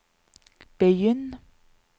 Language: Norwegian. begynn